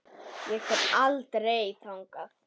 Ég fer aldrei þangað.